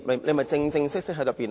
何謂正式辯論呢？